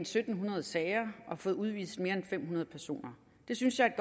syv hundrede sager og fået udvist mere end fem hundrede personer det synes jeg er